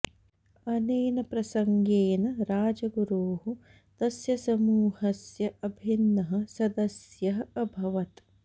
अनेन प्रसङ्गेन राजगुरुः तस्य समूहस्य अभिन्नः सदस्यः अभवत्